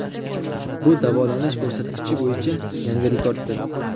Bu davolanish ko‘rsatkichi bo‘yicha yangi rekorddir .